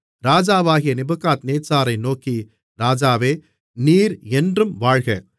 ராஜாவாகிய நேபுகாத்நேச்சாரை நோக்கி ராஜாவே நீர் என்றும் வாழ்க